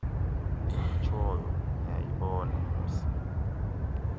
ndiyitshoyo niyayibona mosi